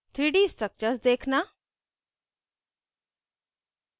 3d structures देखना